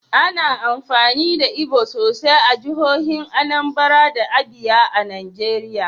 Ana amfani da Igbo sosai a jihohin Anambra da Abia a Najeriya.